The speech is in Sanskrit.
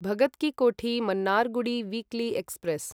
Bhagat ki Kothi Mannargudi weekly express